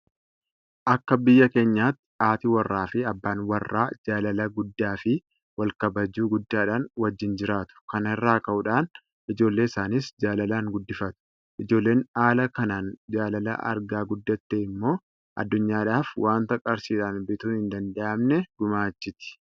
Akka biyya keenyaatti haati warraafi abbaan warraa jaalala guddaafi walkabajuu guddaadhaan wajjin jiraatu. Kana irraa ka'uudhaan ijoollee isaaniis jaalalaan guddifatu. Ijoolleen haala kanaan jaalala argaa guddatte immoo addunyaadhaaf waanta qarshiidhaan bituun hin danda'mne gumaachiti.